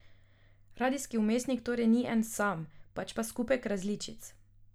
Radijski vmesnik torej ni en sam, pač pa skupek različic.